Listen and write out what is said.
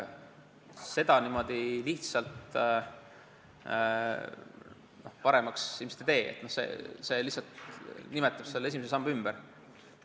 Seda niimoodi paremaks ilmselt ei tee, et lihtsalt nimetame esimese samba ümber.